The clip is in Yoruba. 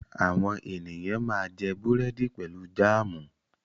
Àwọn ènìyàn máa jẹ búrẹ́dì pẹ̀lú jáámù.